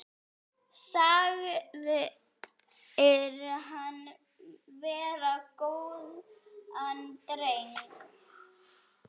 Sagðir hann vera góðan dreng.